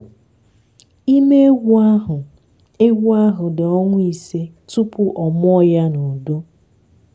ime ewu ahụ ewu ahụ dị ọnwa ise tupu ọ mụọ ya na udo.